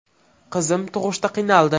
Qizim tug‘ishda qiynaldi.